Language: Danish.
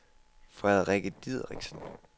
Frederikke Dideriksen